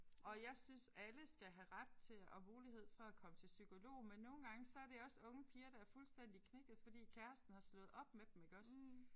Og jeg synes alle skal have ret til og mulighed for at komme til psykolog men nogle gange så er det også unge piger der er fuldstændig knækkede fordi kæresten har slået op med dem iggås